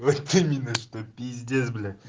вот именно что пиздец блять